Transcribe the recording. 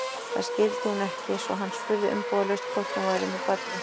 Það skildi hún ekki, svo hann spurði umbúðalaust hvort hún væri með barni.